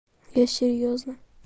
я серьёзно